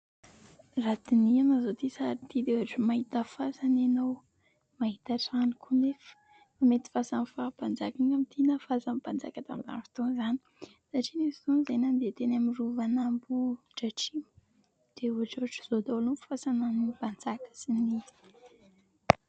raha dinihina izao itỳ sary ity dia ohatra ny mahita fasana ianao ,mahita trano koa nefa mety fasan'ny faham-panjaka na fasan'y mpanjaka tamin'ny androny tamin' izany satria nisy fotoana izahay nandeha teny amin'ny rovan'Ambohidratrimo dia ohatra ohatra izao daholo ny fasana an'ny mpanjaka manan-jiny